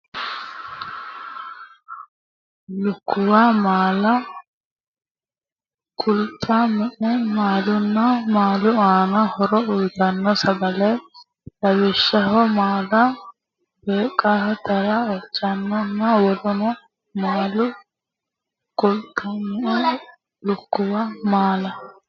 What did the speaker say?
lukkuwu maala qulxu mete maalanna maalu aanno horo uytanno sagale lawishshaho moola baaqeela atara ocholoonenna woluno maala qulxu me lukkuwu maala.